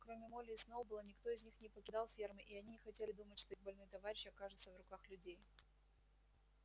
кроме молли и сноуболла никто из них не покидал фермы и они не хотели думать что их больной товарищ окажется в руках людей